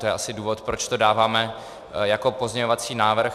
To je asi důvod, proč to dáváme jako pozměňovací návrh.